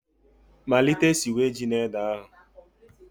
Malite siwe ji na ede ahụ